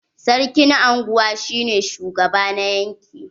Sarkin anguwa shi ne shugaba na yanƙi.